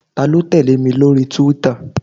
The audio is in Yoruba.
Ta ló tẹ̀lé mi lórí túwítà?